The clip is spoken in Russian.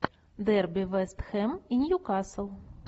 дерби вест хэм и ньюкасл